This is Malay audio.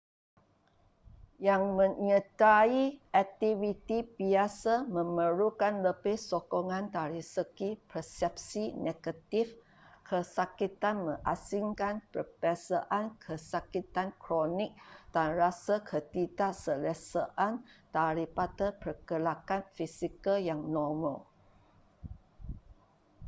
yang menyertai aktiviti biasa memerlukan lebih sokongan dari segi persepsi negatif kesakitan mengasingkan perbezaan kesakitan kronik dan rasa ketidakselesaan daripada pergerakan fizikal yang normal